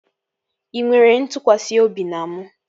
Ị nwere ntụkwasị obi na mụ?